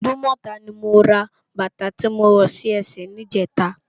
Idumota ni mó rá bata ti mó wò si èsè nijètâ